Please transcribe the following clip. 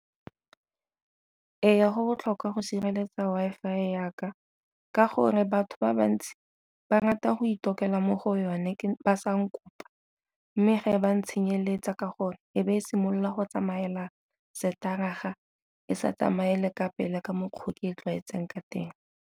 Go botlhokwa go sireletsa Wi-Fi ya ka ka gore batho ba bantsi ba rata go tokela mo go yone ba sa nka kopa, mme ge e ba ntsha tsenyeletsa ka gore e be e simolola go tsamaela e sa tsamaele ka pele ka mokgwa ke e tlwaetseng ka teng.